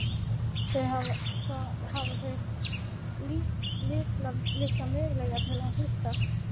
Þá hafa þau litla möguleika til að hittast.